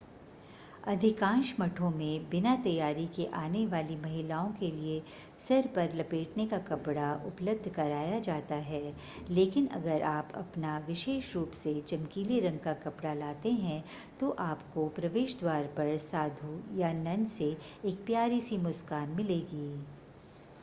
अधिकांश मठों में बिना तैयारी के आने वाली महिलाओं के लिए सिर पर लपेटने का कपडा उपलब्ध कराया जाता है लेकिन अगर आप अपना विशेष रूप से चमकीले रंग का कपड़ा लाते हैं तो आपको प्रवेश द्वार पर साधु या नन से एक प्यारी सी मुस्कान मिलेगी